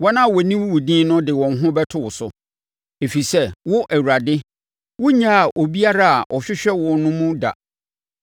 Wɔn a wɔnim wo din no de wɔn ho bɛto wo so, ɛfiri sɛ, wo Awurade, wonnyaa obiara a ɔhwehwɛ wo no mu da.